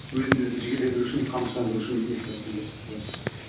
өзімді өзім жігерлендіру үшін қамшыландыру үшін еске алатыным бір заман